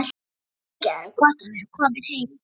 Mikið er gott að vera komin heim!